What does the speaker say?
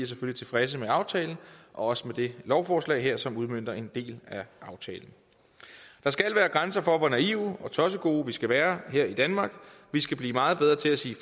tilfredse med aftalen og også med det lovforslag her som udmønter en del af aftalen der skal være grænser for hvor naive og tossegode vi skal være her i danmark vi skal blive meget bedre til at sige